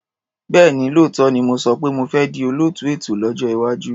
Bẹ́ẹ̀ni, lóòótọ́ ni mo sọ pé mo fẹ́ di olóòtú ètò lọ́jọ́ iwájú.